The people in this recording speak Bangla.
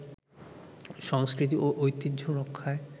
সংস্কৃতি ও ঐতিহ্য রক্ষায়